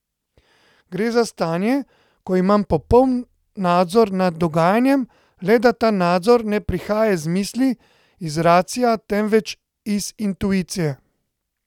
Gre za stanje, ko imam popoln nadzor nad dogajanjem, le da ta nadzor ne prihaja iz misli, iz racia, temveč iz intuicije.